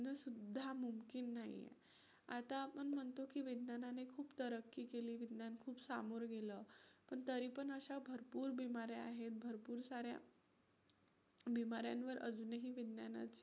की नाही आता आपण म्हणतो की विज्ञानाने खूप तरक्की केली, विज्ञान खूप सामोरं गेलं पण तरी पण अशा भरपूर बीमाऱ्या आहेत, भरपूर साऱ्या बीमाऱ्यांवर अजूनही विज्ञानाची